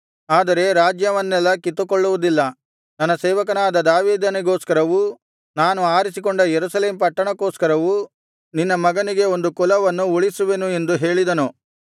ಆದರೆ ರಾಜ್ಯವನ್ನೆಲ್ಲಾ ಕಿತ್ತುಕೊಳ್ಳುವುದಿಲ್ಲ ನನ್ನ ಸೇವಕನಾದ ದಾವೀದನಿಗೋಸ್ಕರವೂ ನಾನು ಆರಿಸಿಕೊಂಡ ಯೆರೂಸಲೇಮ್ ಪಟ್ಟಣಕ್ಕೋಸ್ಕರವೂ ನಿನ್ನ ಮಗನಿಗೆ ಒಂದು ಕುಲವನ್ನು ಉಳಿಸುವೆನು ಎಂದು ಹೇಳಿದನು